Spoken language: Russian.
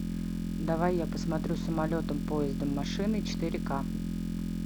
давай я посмотрю самолетом поездом машиной четыре к